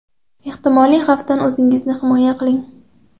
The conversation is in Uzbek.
Ehtimoliy xavfdan o‘zingizni himoya qiling.